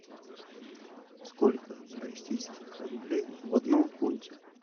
сколько российских рублей в одном фунте